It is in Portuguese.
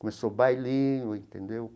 Começou o bailinho, entendeu?